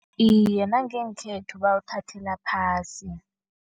Iye, nangekhethu bawuthathela phasi.